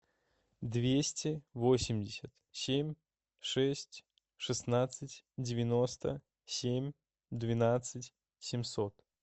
двести восемьдесят семь шесть шестнадцать девяносто семь двенадцать семьсот